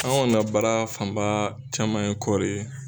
ka baara fanba caman ye kɔɔri ye.